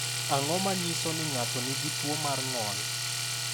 Ang’o ma nyiso ni ng’ato nigi tuwo mar ng’ol?